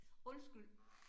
Undskyld